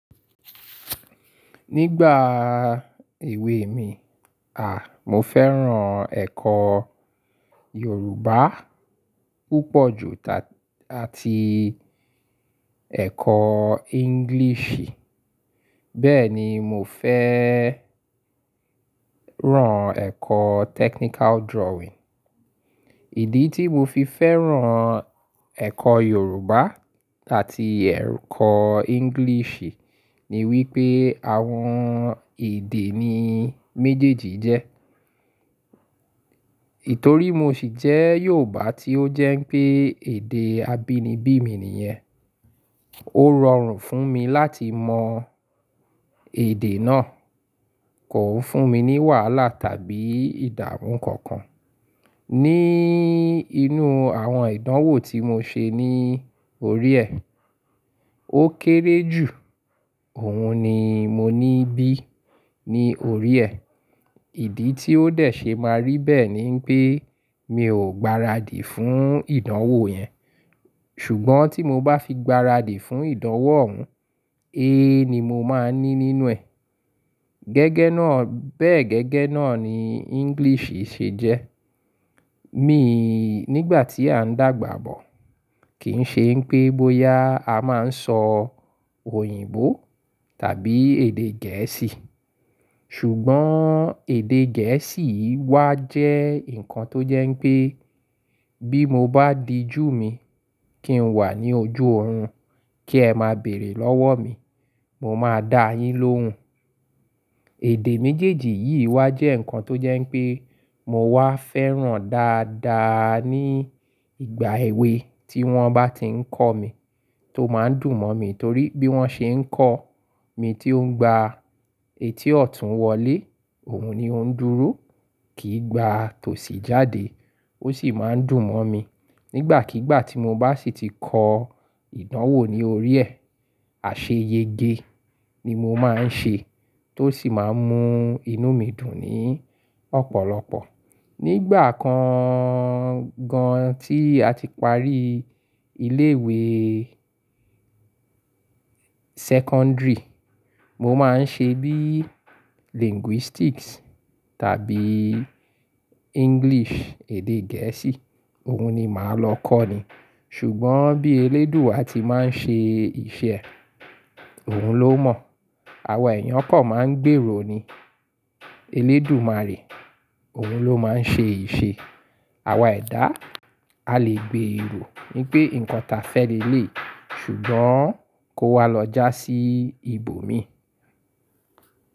Nígbà èwe mi, à, mo fẹ́ràn ẹ̀kọ́ Yorùbá púpọ̀ ju ta-- àti ẹ̀kọ́ Englishì, bẹ́ẹ̀ ni mo fẹ́ rán ẹ̀kọ́ technical drawing. Ìdí tí mo fi fẹ́ràn ẹ̀kọ́ Yorùbá àti ẹ̀kọ́ Englishì ni wípé àwọn èdè ni méjèèjì jẹ́. Itòrí mo sì jẹ́ Yorùbá tí ó jẹ́ pé èdè abínibí mi nìyẹn. Ó rọrùn fún mi láti mọ èdè náà, kò ń fún mi ní wàhálà tàbí ìdámú kankan. Ni inú àwọn ìdánwò tí mo ṣe ní orí ẹ̀, ó kéré jù, òun ni mo ní "B" ní orí ẹ̀. Ìdí tí ó dẹ̀ ṣe máa rí bẹ́ẹ̀ ni pé mi ò gbaradì fún ìdánwò yẹn. Ṣùgbọ́n tí mo bá fi gbaradì fún ìdánwò òun, A ni mo máa ní nínú ẹ̀. Gẹ́gẹ́ náà, bẹ́ẹ̀ gẹ́gẹ́ náà ni Englishì ṣe jẹ́. Mi, nígbà tí à ń dàgbà bọ̀, kì ń ṣe npé bóyá a máa ń sọ òyìnbó tàbí èdè gẹ̀ẹ́sì. Ṣùgbọ́n èdè gẹ̀ẹ́sì yîí wá jẹ́ nǹkan tó jẹ́ pé bí mo bá dijú mi kí n wà ní ojú òòrùn kí ẹ máa béèrè lọ́wọ́ mi, mo máa dáa yín lóhùn. Èdè méjèèjì yìí wá jẹ́ ǹkan tó jẹ́ pé mo wá fẹ́ràn dáadáa ní ìgbà èwe tí wọ́n bá ti ń kọ́ mi, tó máa ń dùn mọ́ mi torí bí wọ́n ṣe ń kọ́ mi tí ó ń gba etí ọ̀tún wọlé, òun ni ó ń dúró, kì í gba tòsí jáde, ó sì máa ń dùn mọ́ mi. Nígbàkígbà tí mo bá sì ti kọ ìdánwò ní orí ẹ̀, àṣeyẹgẹ ni mo máa ń ṣe tó sì máa ń mú inú mi dùn ní ọ̀pọ̀lọpọ̀. Nígbà kan gan tí a ti parí ilé ìwé secondary, mo máa ń ṣe bí linguistics tàbí English, èdè gẹ̀ẹ́sì, òun ni màá lọ kọ́ ni. Ṣùgbọ́n bí eléèdúà ti máa ń ṣe ìṣe, òun ló mọ̀. Àwa ẹ̀yán kọ̀ máa ń gbèrò ni eléèdù má rí, òun ló máa ń ṣe ìṣe. Àwa ẹ̀dá, a lè gbé èrò ní pé ǹkan ta fẹ́ leléi, ṣùgbọ́n kó wá lọ já sí ibòmí.